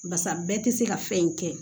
Barisa bɛɛ tɛ se ka fɛn in kɛ